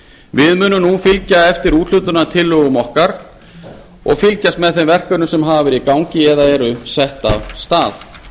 við munum nú fylgja eftir úthlutunartillögum okkar og fylgjast með þeim verkefnum sem hafa verið í gangi eða eru sett af stað